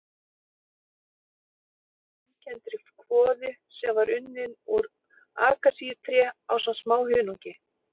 Blandan samanstóð af döðlum, límkenndri kvoðu sem var unnin úr akasíutré ásamt smá hunangi.